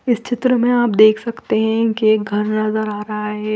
इस चित्र में आप देख सकते है की घर नज़र आरहा है।